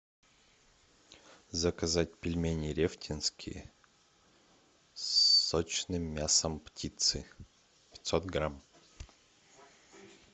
заказать пельмени рефтинские с сочным мясом птицы пятьсот грамм